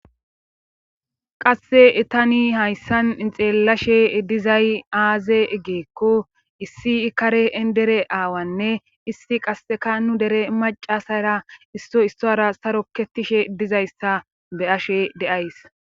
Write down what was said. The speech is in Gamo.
qasse etani hayssan xeellashe dizay aaze eggeekko issi ikare endere aawanne issi qasseka nu dere macasara isso issora saro kettishe dizayssa be ashe deays